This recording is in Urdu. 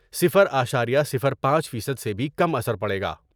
صِفر اشاریہ صِفر پانچ فیصد سے بھی کم اثر پڑے گا ۔